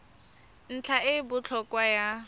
ntlha e e botlhokwa ya